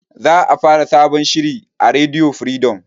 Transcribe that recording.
Za a fara sabon shiri a rediyo firidom